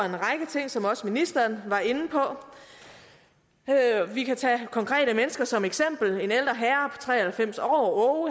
ting som også ministeren var inde på vi kan tage konkrete mennesker som eksempel en ældre herre tre og halvfems år